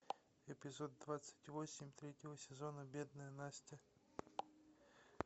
эпизод двадцать восемь третьего сезона бедная настя